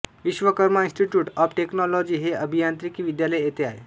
Vishwakarma institute of technology हे अभियांत्रिकी विद्यालय येथे आहे